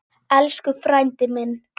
Elsku frændi minn.